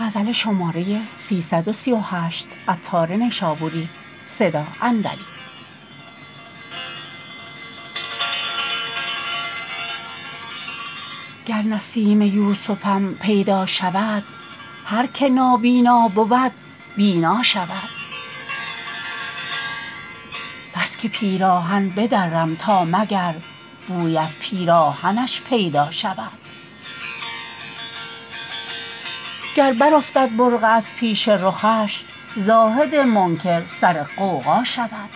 گر نسیم یوسفم پیدا شود هر که نابینا بود بینا شود بس که پیراهن بدرم تا مگر بویی از پیراهنش پیدا شود گر برافتد برقع از پیش رخش زاهد منکر سر غوغا شود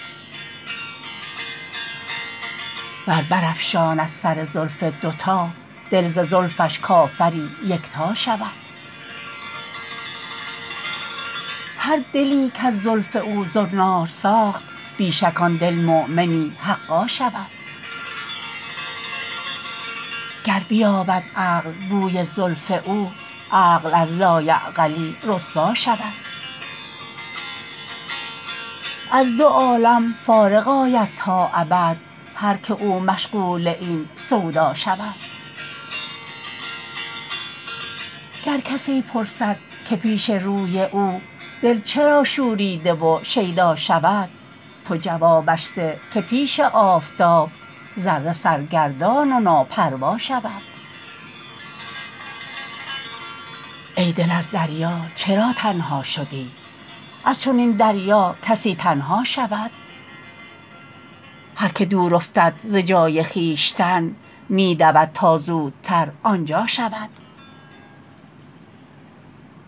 ور برافشاند سر زلف دو تا دل ز زلفش کافری یکتا شود هر دلی کز زلف او زنار ساخت بی شک آن دلمؤمنی حقا شود گر بیابد عقل بوی زلف او عقل از لایعقلی رسوا شود از دو عالم فارغ آید تا ابد هر که او مشغول این سودا شود گر کسی پرسد که پیش روی او دل چرا شوریده و شیدا شود تو جوابش ده که پیش آفتاب ذره سرگردان و ناپروا شود ای دل از دریا چرا تنها شدی از چنین دریا کسی تنها شود هر که دور افتد ز جای خویشتن می دود تا زودتر آنجا شود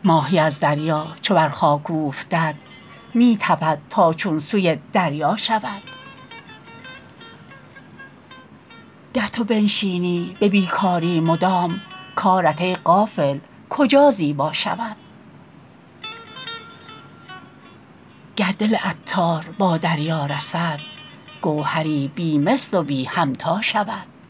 ماهی از دریا چو بر خاک اوفتد می تپد تا چون سوی دریا شود گر تو بنشینی به بیکاری مدام کارت ای غافل کجا زیبا شود گر دل عطار با دریا رسد گوهری بی مثل و بی همتا شود